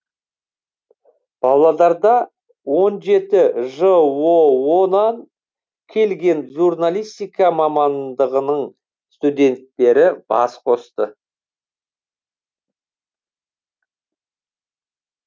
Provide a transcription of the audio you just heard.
павлодарда он жеті жоо нан келген журналистика мамандығының студенттері бас қосты